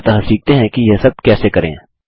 अतः सीखते हैं कि यह सब कैसे करें